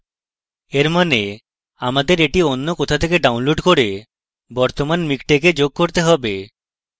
এর অর্থ হচ্ছে আমাদের এটি অন্য কোথাও থেকে download করে বর্তমান miktexwe যোগ করতে have